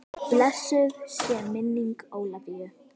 Blessuð sé minning Ólafíu.